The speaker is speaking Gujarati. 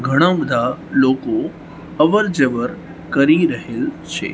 ઘણા બધા લોકો અવરજવર કરી રહેલ છે.